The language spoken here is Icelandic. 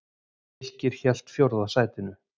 Fylkir hélt fjórða sætinu